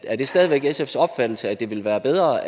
er det stadig væk sfs opfattelse at det vil være bedre